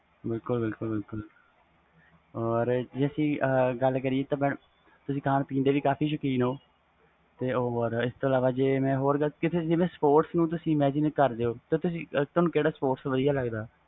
ਬਿਲਕੁਲ ਬਿਲਕੁਲ ਜੇ ਗੱਲ ਕਰੀਏ ਤਾ ਤੁਸੀ ਖਾਣ ਪੀਣ ਦੇ ਕਾਫੀ ਸੌਕੀਨ ਹੋ ਤੇ ਹੋਰ ਇਸ ਤੋਂ ਇਲਾਵਾ ਗੱਲ ਕਰ ਜਿਵੇ ਤੁਸੀ sports ਨੂੰ imagination ਕਰ ਦੇ ਹੋ ਤੇ ਤੁਹਾਨੂੰ ਕਿਹੜਾ sports ਵਧੀਆ ਲਗ ਦਾ ਵ